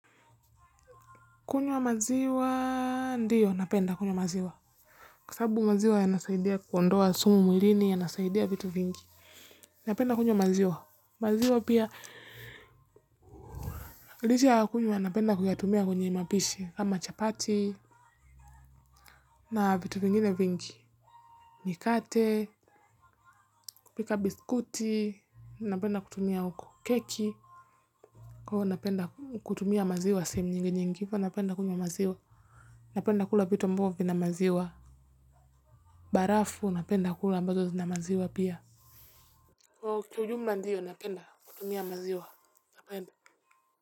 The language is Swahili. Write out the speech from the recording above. Kunywa maziwa, ndiyo, napenda kunywa maziwa. Kwa sabu maziwa yanasaidia kuondoa sumu mwilini, yanasaidia vitu vingi. Napenda kunywa maziwa. Maziwa pia, licha ya kunywa, napenda kuyatumia kwenye mapishi, ama chapati, na vitu vingine vingi. Mikate, kupika biskuti, napenda kutumia uko keki. Kwa napenda kutumia maziwa sehemu nyingi nyingi, napenda kunywa maziwa. Napenda kula vitu ambavo vina maziwa. Barafu napenda kula ambazo zina maziwa pia. Kwa ujumla ndiyo napenda kutumia maziwa napenda.